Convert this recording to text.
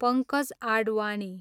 Pankaj Advani